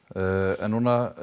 en núna